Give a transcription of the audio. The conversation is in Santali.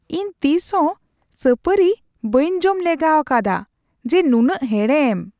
ᱤᱧ ᱛᱤᱥ ᱦᱚᱸ ᱥᱟᱹᱯᱟᱹᱨᱤ ᱵᱟᱹᱧ ᱡᱚᱢ ᱞᱮᱜᱟᱣᱟᱠᱟᱫᱟ ᱡᱮ ᱱᱩᱱᱟᱹᱜ ᱦᱮᱲᱮᱢ !